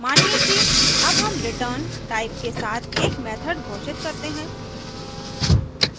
मानिए कि add हम return type के साथ add method घोषित करते हैं